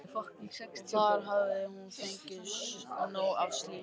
Og þar hafði hún fengið nóg af slíku.